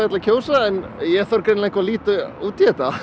að kjósa en ég þarf greinilega að líta út í þetta